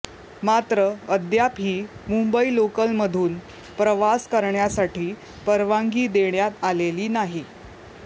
मात्र अद्यापही मुंबई लोकलमधून प्रवास करण्यासाठी परवानगी देण्यात आलेली नाही